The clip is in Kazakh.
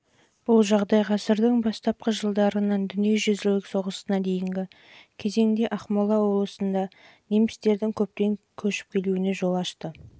бұл жағдай ғасырдың бастапқы жылдарынан дүниежүзілік соғысына дейінгі кезеңде ақмола облысында немістердің көптеп көшіп келуіне жол ашты